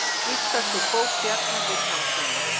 Giftast úr bók Bjarna Vilhjálmssonar